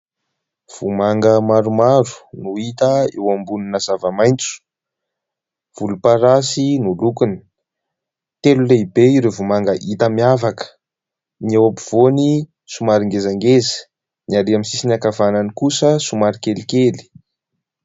Voamanga maromaro no hita eo ambonina zava-maitso. Volomparasy no lokony. Telo lehibe ireo voamanga hita miavaka. Ny eo ampovoany somary ngezangeza, ny ary amin'ny sisiny ankavanany kosa somary kelikely.